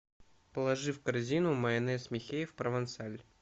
положи в корзину майонез михеев провансаль